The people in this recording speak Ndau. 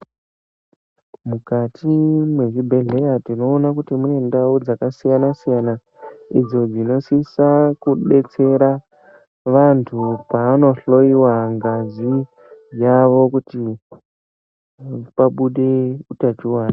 Mukati mezvibhedhlera tinoona kuti mune ndau dzakasiyana-siyana, idzo dzinosisa kudetsera vantu pavanohloyiwa ngazi yavo, kuti pabude utachiwana.